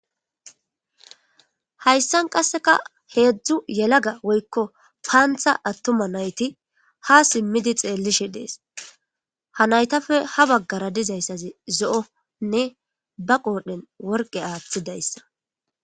hayssan qasseka heedzdzu yelaga woykko paantha attuma nayti ha simmidi xeellishe dees hanaytafe ha baggara dizayssazi zo7onne ba qoodhen worqe aaththidayssa